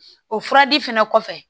O furadi fɛnɛ kɔfɛ